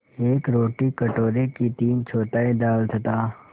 एक रोटी कटोरे की तीनचौथाई दाल तथा